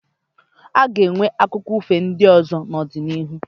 Aga enwe akụkọ ifo ndị ọzọ n'ọdịnihu